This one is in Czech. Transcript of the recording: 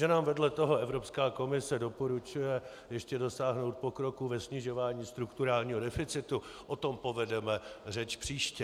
Že nám vedle toho Evropská komise doporučuje ještě dosáhnout pokroku ve snižování strukturálního deficitu, o tom povedeme řeč příště.